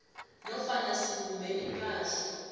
nofana sibumbe ipahla